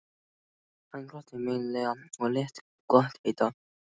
Hann glotti meinlega og lét gott heita.